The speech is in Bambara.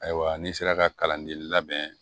Ayiwa n'i sera ka kalanden labɛn